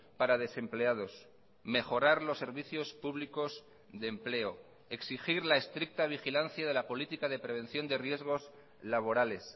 para desempleados mejorar los servicios públicos de empleo exigir la estricta vigilancia de la política de prevención de riesgos laborales